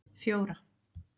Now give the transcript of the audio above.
fjóra